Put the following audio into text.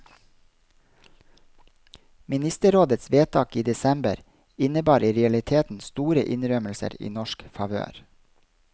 Ministerrådets vedtak i desember innebar i realiteten store innrømmelser i norsk favør.